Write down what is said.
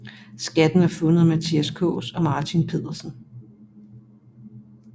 Skatten er fundet af Mathias Kaas og Martin Pedersen